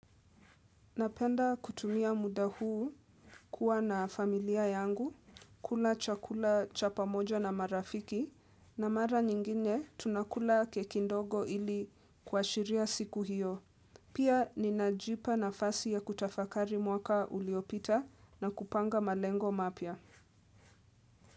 Napenda kutumia muda huu kuwa na familia yangu, kula chakula cha pamoja na marafiki na mara nyingine tunakula keki ndogo ili kuashiria siku hiyo. Pia ninajipa nafasi ya kutafakari mwaka uliopita na kupanga malengo mapya.